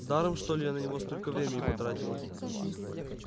даром что ли я на него столько времени потратила